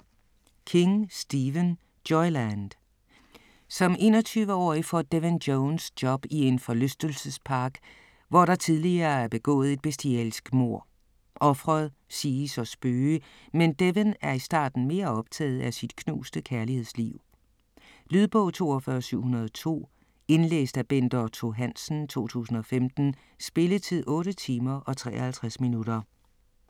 King, Stephen: Joyland Som 21-årig får Devin Jones job i en forlystelsespark, hvor der tidligere er begået et bestialsk mord. Ofret siges at spøge, men Devin er i starten mere optaget af sit knuste kærlighedsliv. Lydbog 42702 Indlæst af Bent Otto Hansen, 2015. Spilletid: 8 timer, 53 minutter.